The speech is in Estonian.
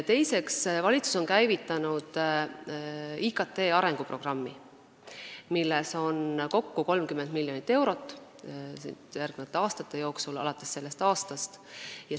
Teiseks, valitsus on käivitanud IKT arenguprogrammi, milleks on kokku ette nähtud 30 miljonit eurot järgnevate aastate jooksul, alates sellest aastast.